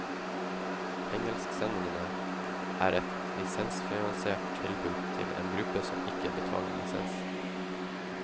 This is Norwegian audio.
Engelsksendingene er et lisensfinansiert tilbud til en gruppe som ikke betaler lisens.